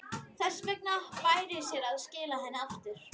Þess vegna bæri sér að skila henni aftur.